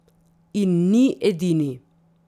In ni edini.